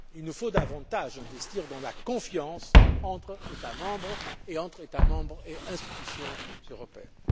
Il nous faut davantage investir dans la confiance entre États membres et entre États membres et institutions européennes.